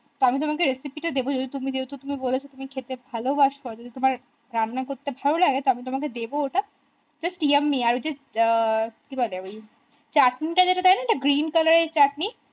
আমি তোমাকে recipe দেব যেহেতু তুমি বলেছো তুমি খেতে ভালোবাসো যদি তোমার রান্না করতে ভালোলাগে তবে তোমাকে দেব ওটা just yummy আমি just কি বলে ওই চাটনি টা যেটা দেয় না একটা green color এর চাটনি